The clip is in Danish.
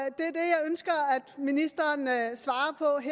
ministeren talerstolen altså